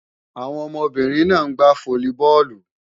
Àwọn ọmọbìnrin náà ń gbá fólíbọọ̀lù